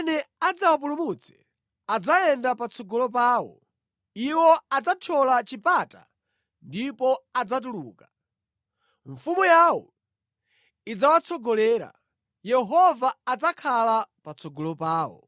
Amene adzawapulumutse adzayenda patsogolo pawo; iwo adzathyola chipata ndipo adzatuluka. Mfumu yawo idzawatsogolera, Yehova adzakhala patsogolo pawo.”